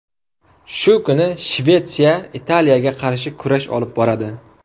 Shu kuni Shvetsiya Italiyaga qarshi kurash olib boradi.